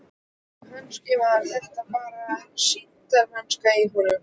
Kannski var þetta bara sýndarmennska í honum.